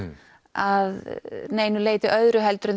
að neinu leyti öðru heldur en